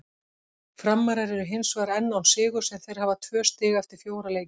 Framarar eru hinsvegar enn án sigurs en þeir hafa tvö stig eftir fjóra leiki.